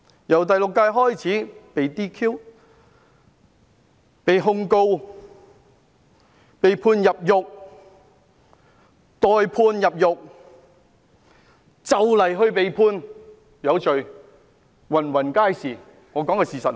由第六屆開始，被 "DQ"、被控告、被判入獄、待判入獄、快將被判有罪的，比比皆是。